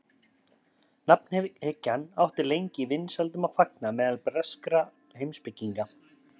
Nafnhyggjan átti lengi vinsældum að fagna meðal breskra heimspekinga.